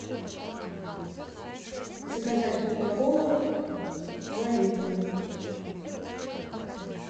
заказать кока колу два литра